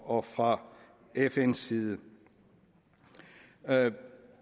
og fra fns side jeg